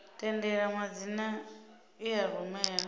tendela madzina i a rumela